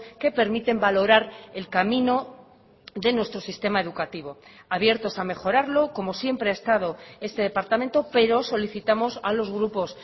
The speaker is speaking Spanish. que permiten valorar el camino de nuestro sistema educativo abiertos a mejorarlo como siempre ha estado este departamento pero solicitamos a los grupos